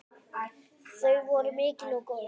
Þau voru mikil og góð.